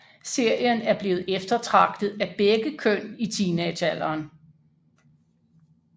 Serien er blevet eftertragtet af begge køn i teenagealderen